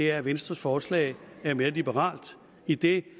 er at venstres forslag er mere liberalt idet